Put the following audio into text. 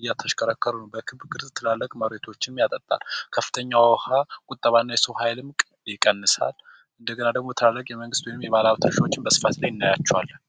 እየተሽከረከረ ትልቅ መሬቶችንም ያጠጣል ከፍተኛ የውሃ ቁጠባና የሰው ኃይልም ይቀንሳል እንደገና ደግሞ የመንግት ትላልቅ ወይም የባለሀብት መሬቶችን በስፋት እናያቸዋለን።